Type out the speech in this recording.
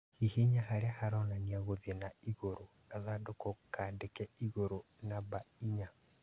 Hihinya harĩa haronania gũthiĩ na igũrũ ( gathandũkũ kandĩke igũrũ) namba inya